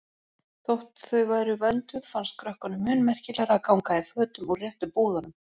Þótt þau væru vönduð fannst krökkunum mun merkilegra að ganga í fötum úr réttu búðunum.